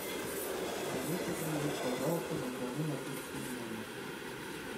алиса привет пожалуйста закажи напитки в номер